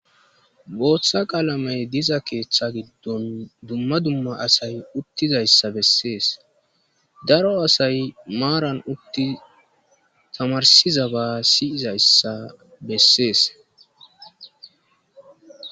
Booththa qalamey diza keeththa giddon dumma dumma asay uttidayssa bessees. Daro asay maaran uttidi tamarssizaba siyizayssa bessees.